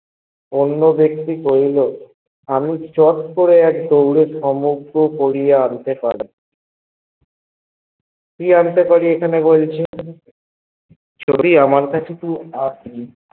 অন্য বেক্তি কইলো আর ছোট করে এক দৌড়ে সমস্ত বরৈয়া আনতে পরিব কি আনতে পরি এখানে বলেছে যদিও আমার কাছে র নেই